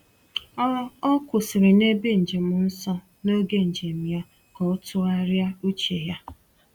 O O kwụsịrị n’ebe njem nsọ n’oge njem ya ka o tụgharịa uche ya.